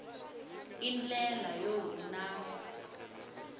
i ndlela yo hunasa